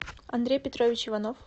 андрей петрович иванов